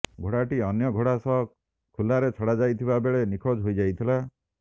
ଘୋଡ଼ାଟି ଅନ୍ୟ ଘୋଡ଼ା ସହ ଖୁଲାରେ ଛଡ଼ାଯାଇଥିବା ବେଳେ ନିଖୋଜ ହୋଇଯାଇଥିଲା